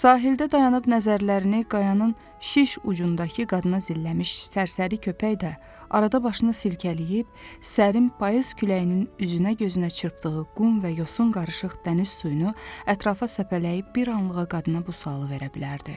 Sahildə dayanıb nəzərlərini qayanın şiş ucundakı qadına zilləmiş sərsəri köpək də arada başını silkələyib, sərim payız küləyinin üzünə gözünə çırpdığı qum və yosun qarışıq dəniz suyunu ətrafa səpələyib bir anlığa qadına bu sualı verə bilərdi.